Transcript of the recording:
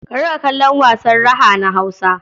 Ka riƙa kallon wasan raha na Hausa.